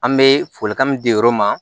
An bɛ folikan min di yɔrɔ min ma